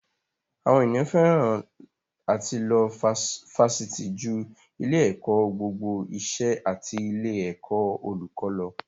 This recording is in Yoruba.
Àwọn ènìyàn fẹ́ràn àti lọ Fásitì ju ilé-ẹ̀kọ́ gbogbo ìṣẹ́ àti ilé-ẹ̀kọ́ olùkó lọ.